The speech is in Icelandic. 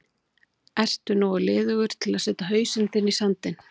Ertu nógu liðugur til að setja hausinn þinn í sandinn?